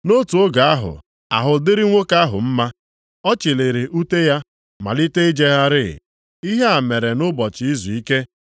Nʼotu oge ahụ, ahụ dịrị nwoke ahụ mma, ọ chịlịri ute ya, malite ijegharị. Ihe a mere nʼụbọchị izuike.